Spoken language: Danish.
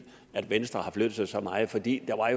at venstre har flyttet sig så meget for det var